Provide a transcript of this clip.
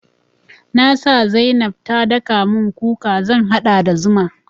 Na sa zainab ta daka mun kuka zan haɗa da zuma.